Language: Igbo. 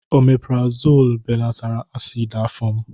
Omepurazonu belatara asidi afọ m.